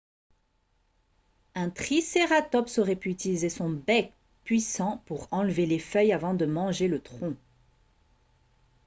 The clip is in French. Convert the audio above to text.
un tricératops aurait pu utiliser son bec puissant pour enlever les feuilles avant de manger le tronc